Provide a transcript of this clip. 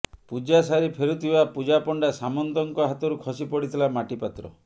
ପୂଜା ସାରି ଫେରୁଥିବା ପୂଜାପଣ୍ଡା ସାମନ୍ତଙ୍କ ହାତରୁ ଖସି ପଡିଥିଲା ମାଟିପାତ୍ର